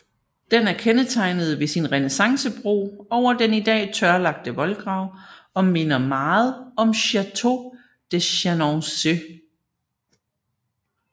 Den er kendetegnet ved sin renæssancebro over den i dag tørlagte voldgrav og minder meget om Chateau de Chenonceaus